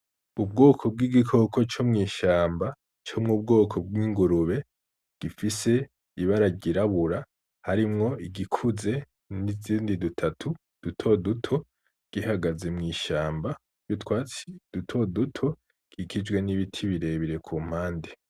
Ubwoko bw'igikoko co mw’ishamba co mu bwoko bw'ingurube, gifise ibara ry'irabura, harimwo igikuze n'izindi dutatu duto duto, gihagaze mw'ishamba ry’utwatsi duto duto, gikikijwe n'ibiti birebire ku mpande.